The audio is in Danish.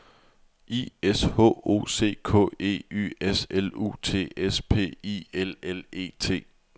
I S H O C K E Y S L U T S P I L L E T